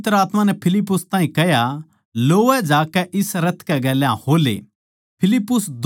फेर पवित्र आत्मा नै फिलिप्पुस ताहीं कह्या लोवै जाकै इस रथ कै गेल्या हो ले